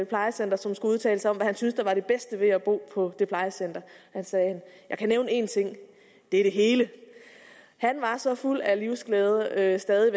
plejecenter som skulle udtale sig om hvad han synes der var det bedste ved at bo på det plejecenter han sagde jeg kan nævne en ting det er det hele han var så fuld af livsglæde stadig